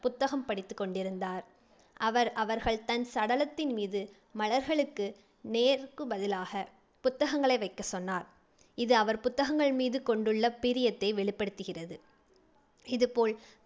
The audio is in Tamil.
புத்தகம் படித்துக் கொண்டிருந்தார். அவர் அவர்கள் தன் சடலத்தின் மீது மலர்களுக்குப் நேருக்கு பதிலாகப் புத்தகங்களை வைக்கச் சொன்னார். இது அவர் புத்தகங்கள் மீது கொண்டுள்ள பிரியத்தை வெளிப்படுத்துகிறது. இதுபோல்